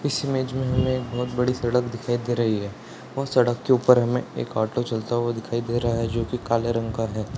इस इमेज में हमें एक बहुत बड़ी सड़क दिखाई दे रही है और सड़क के ऊपर हमें एक ऑटो चलता हुआ दिखाई दे रहा है जो की काले रंग का है।